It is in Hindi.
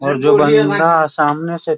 और जो बंदा सामने से --